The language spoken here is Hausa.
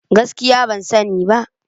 Gaskiya ban sani ba.